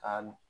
Ka n